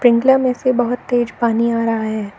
Sprinkler में से बहोत तेज पानी आ रहा है।